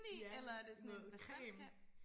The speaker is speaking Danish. Ja noget creme